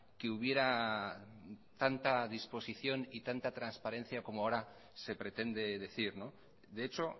que hubiera tanta disposición y tanta transparencia como ahora se pretende decir de hecho